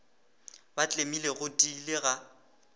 ba tlemile go tiile ga